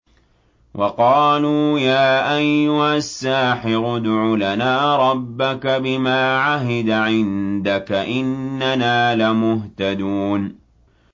وَقَالُوا يَا أَيُّهَ السَّاحِرُ ادْعُ لَنَا رَبَّكَ بِمَا عَهِدَ عِندَكَ إِنَّنَا لَمُهْتَدُونَ